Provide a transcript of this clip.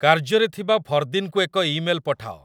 କାର୍ଯ୍ୟରେ ଥିବା ଫର୍ଦୀନ କୁ ଏକ ଇମେଲ୍ ପଠାଅ